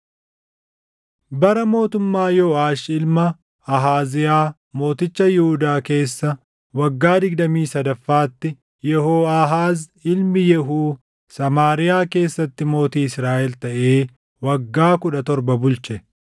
Bara mootummaa Yooʼaash ilma Ahaaziyaa mooticha Yihuudaa keessa waggaa digdamii sadaffaatti Yehooʼaahaaz ilmi Yehuu Samaariyaa keessatti mootii Israaʼel taʼee waggaa kudha torba bulche.